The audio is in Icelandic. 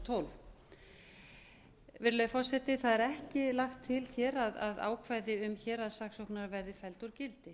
tólf virðulegi forseti það er ekki lagt til hér að ákvæði um héraðssaksóknara verði felld úr gildi